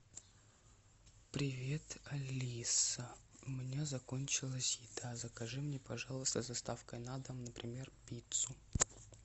привет алиса у меня закончилась еда закажи мне пожалуйста с доставкой на дом например пиццу